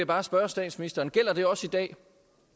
bare spørge statsministeren gælder det også i dag